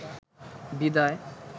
বিদায়